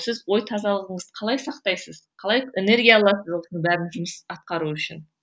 сіз ой тазалығыңызды қалай сақтайсыз қалай энергия аласыз осының бәрін жұмыс атқару үшін